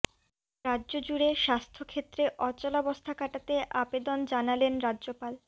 রাজ্যজুড়ে স্বাস্থ্য ক্ষেত্রে অচলাবস্থা কাটাতে আবেদন জানালেন রাজ্যপাল